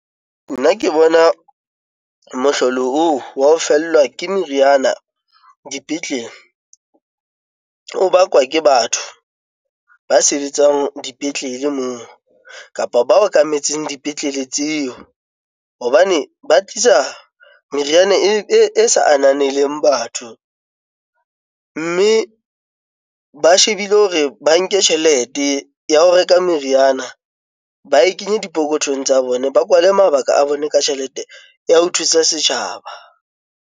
Nna ke bona mohlolo oo wa ho fellwa ke meriana dipetlele ol o bakwa ke batho ba sebetsang dipetlele moo kapa ba okametseng dipetlele tseo. Hobane ba tlisa meriana e sa ananelang batho, mme ba shebile hore ba nke tjhelete ya ho reka meriana, ba e kenye dipokothong tsa bona, ba kwale mabaka a bone ka tjhelete ya ho thusa setjhaba.